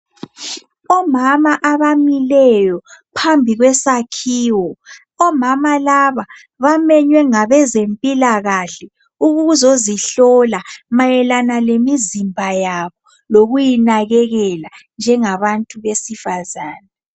Omama abamileyo phambi kwesakhiwo. Omama laba bamenywe ngabezempilakahle ukuzozihlola mayelana lemizimba yabo lokuyinakekela njengabantu besifazana.